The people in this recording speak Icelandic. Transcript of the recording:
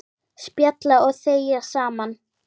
Spjalla og þegja saman.